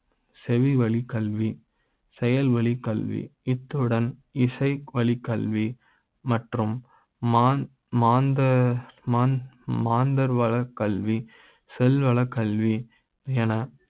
செவி வழி கல்வி, செயல்வழி, கல்வி இத்துடன் இசை வழி கல்வி மற்றும் மான் மாந்தர மான் மாந்தர கல வி, செல்வம், கல்வி எ